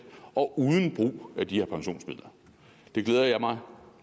og uden brug af de her pensionsmidler det glæder jeg mig